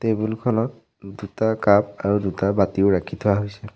Table খনত দুটা cup আৰু দুটা বাতিও ৰাখি থোৱা হৈছে।